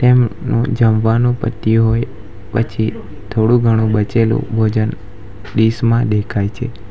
જમવાનું પત્યું હોય પછી થોડું ઘણું બચેલું ભોજન ડીશ માં દેખાય છે.